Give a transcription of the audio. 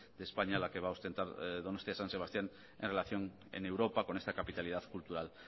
de españa la que va a ostentar donostia san sebastián en relación en europa con esta capitalidad cultural